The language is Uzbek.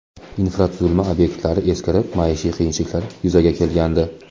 Infratuzilma obyektlari eskirib, maishiy qiyinchiliklar yuzaga kelgandi.